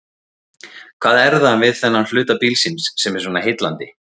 Hvað er það við þennan hluta bílsins sem er svona heillandi?